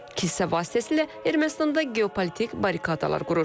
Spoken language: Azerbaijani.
Kilsə vasitəsilə Ermənistanda geopolitik barrikadalar qurur.